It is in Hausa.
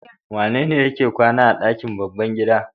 Wanene yake kwana a ɗakin babban gida?